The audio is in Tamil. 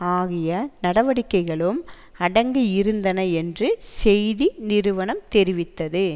ஆகிய நடவடிக்கைகளும் அடங்கியிருந்தன என்று செய்தி நிறுவனம் தெரிவித்தது